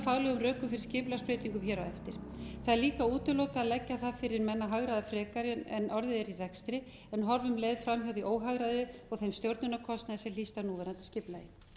rökum fyrir skipulagsbreytingum hér á eftir það er líka útilokað að leggja það fyrir menn að hagræða frekar en orðið er í rekstri en horfa um leið fram hjá því óhagræði og þeim stjórnunarkostnaði sem hlýst af núverandi skipulagi